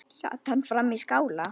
Sat hann frammi í skála.